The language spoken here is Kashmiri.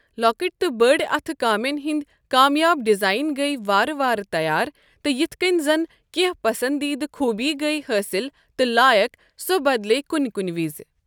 لۄکٕٹۍ تہٕ بٔڑۍ اَتھہٕ کٲمٮ۪ن ہٕنٛد کامیاب ڈیزائن گٔیہ وارٕ وار تیار تہٕ یتھ کینۍ زَن کینٛہہ پسنٛدیٖدٕ خوٗبیہٕ گٔیۍ حٲصِل تہٕ لایَق سۄ بدلے کُنہِ کُنہِ وِزِ۔